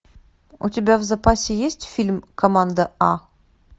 у тебя в запасе есть фильм команда а